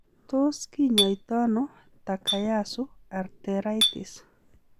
Tos kinyaita ono Takayasu arteritis?